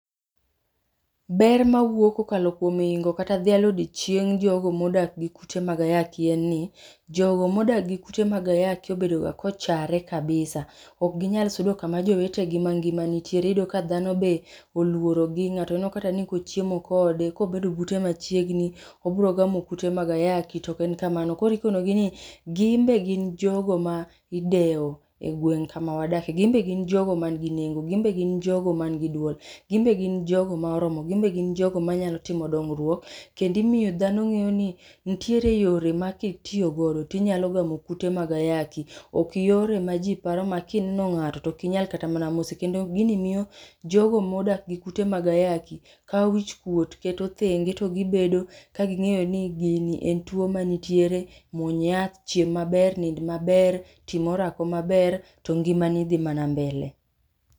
Ber mawuok ka okalo kuom ingo kata dhialo odiechieng jogo ma odak gi kute mag ayaki en ni, jo go ma odak gi kute mag ayaki obedo ga ka ochare kabisa ok gi nya bedo ku ma jowetegi ma ngima nitie. Iyudo ka dhano be oluorogi ng'ato we kata ni ka ochiemo kode ka obedo bute machiegni obiro gamo kute mag ayaki to ok en kamano. Koro ijiwo gi ni gin be gin jogo ma idewo e gweng kama wadakie, gin be gin jogo ma ni gi nengo, gin be gin jogo ma ni gi luor, gin be gin jogo maoromo, gin be gin jogo ma nyalo timo dongruok, kendo imiyo fdhano ngeyo nni nitiere yore ma ki itiyo godo ti inyalo gamo kute mag ayaki ok yore ma ji paro ma ki ineno ng'ato to ok inyal kata mana mose kendo gi miyo jo go ma odak gi kute mag ayaki kao wich kuot to keto thenge to gi bedo ka ng'eyo ni gi ni en two ma nitiere mwony yath, chiem maber, nind maber, tim orako ma ber to ngima ni dhi mana mbele.